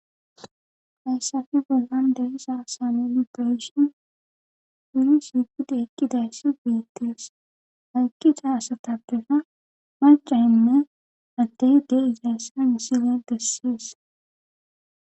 hayssafi bollan dehisa asane inpoeshon guri sigida ekkidayssi beittees haykkida asatapbera macayinne adtehi de izaassa isile dessees